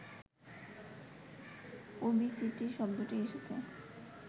obesity শব্দটি এসেছে